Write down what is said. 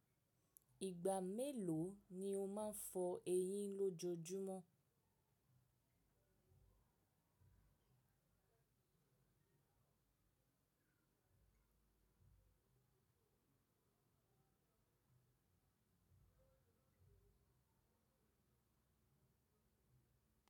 Ìgbà mélò ni o máa ń fọ eyín lọ́jojúmọ́?